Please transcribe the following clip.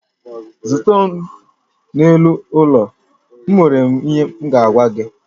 Zute m n'elu ụlọ, enwere m ihe m ga-agwa gị